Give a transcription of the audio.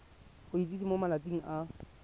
go itsise mo malatsing a